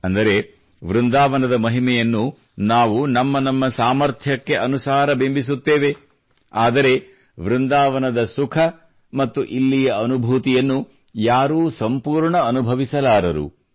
ಅಂದರೆ ವೃಂದಾವನದ ಮಹಿಮೆಯನ್ನು ನಾವು ನಮ್ಮ ನಮ್ಮ ಸಾಮರ್ಥ್ಯಕ್ಕೆ ಅನುಸಾರ ಬಿಂಬಿಸುತ್ತೇವೆ ಆದರೆ ವೃಂದಾವನದ ಸುಖ ಮತ್ತು ಇಲ್ಲಿಯ ಅನುಭೂತಿಯನ್ನು ಯಾರೂ ಸಂಪೂರ್ಣ ಅನುಭವಿಸಲಾರರು